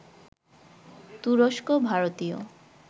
তুরস্ক, ভারতীয়